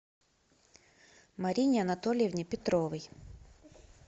марине анатольевне петровой